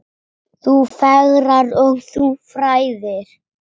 Þú fegrar og þú fræðir.